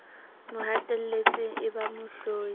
mo hatelletseng e ba mohlodi